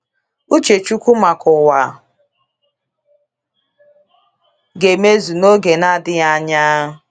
Uche chukwu maka ụwa ga - emezu n’oge na - adịghị anya.